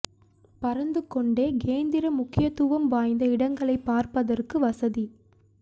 பறந்து கொண்டே கேந்திர முக்கியத்துவம் வாய்ந்த இடங்களை பார்ப்பதற்கு வசதி